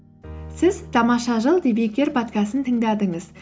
сіз тамаша жыл подкастын тыңдадыңыз